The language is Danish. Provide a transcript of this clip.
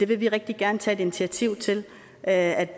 vil rigtig gerne tage et initiativ til at